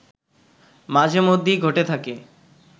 মাঝে মধ্যেই ঘটে থাকে